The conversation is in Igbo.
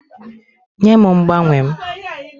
Nye m mgbanwe m!